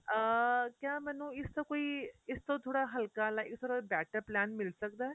ਅਹ ਕਿਆ ਮੈਂਨੂੰ ਇਸ ਦਾ ਕੋਈ ਇਸ ਤੋਂ ਥੋੜਾ ਹਲਕਾ ਇਸ ਤੋਂ ਥੋੜਾ better plan ਮਿਲ ਸਕਦਾ ਏ